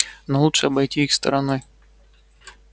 но лучше обойти их стороной